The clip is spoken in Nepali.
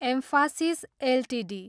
म्फासिस एलटिडी